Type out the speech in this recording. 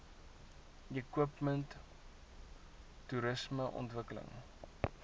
equipment toerisme ontwikkeling